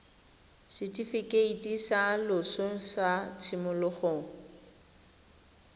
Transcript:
setifikeiti sa loso sa tshimologo